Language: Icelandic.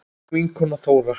Þín vinkona Þóra.